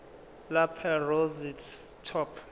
lapel rosette top